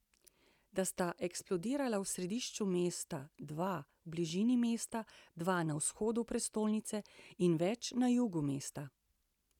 Dva sta eksplodirala v središču mesta, dva v bližini mesta, dva na vzhodu prestolnice in več na jugu mesta.